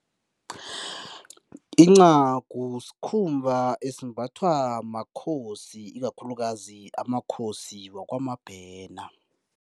Incagu sikhumba esimbathwa makhosi, ikakhulukazi amakhosi wakwaMabhena.